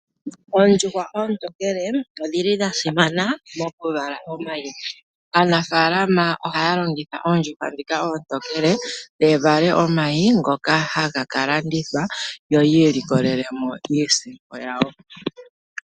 Oondjuhwa oontokele odhi li dha simana mokuvala omayi. Aanafaalama ohaya longitha oondjuhwa ndhika oontokele dhi vale omayi ngoka haga ka landithwa yo yi ilikolele mo iisimpo yawo.